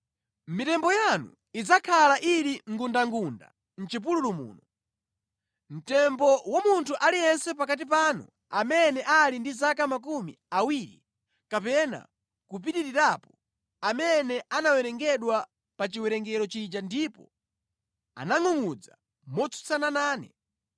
Mitembo yanu idzakhala ili ngundangunda mʼchipululu muno; mtembo wa munthu aliyense pakati panu amene ali ndi zaka makumi awiri kapena kupitirirapo, amene anawerengedwa pa chiwerengero chija ndipo anangʼungʼudza motsutsana nane.